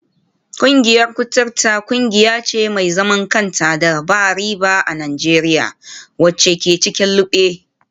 Kungiyar kuturta kungiya ce mai zaman kanta da ba riba a Najeriya, wacce ke cikin lugbe.